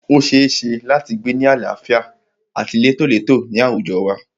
O ṣeéṣe láti gbé ni àlàáfíà àti létólètó ní àwùjọ wa.